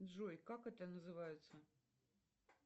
джой как это называется